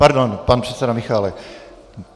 Pardon, pan předseda Michálek.